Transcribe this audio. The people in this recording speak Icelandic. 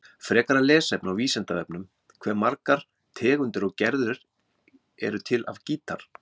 Frekara lesefni á Vísindavefnum: Hve margar tegundir og gerðir eru til af gítar?